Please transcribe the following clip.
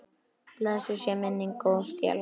Blessuð sé minning góðs félaga.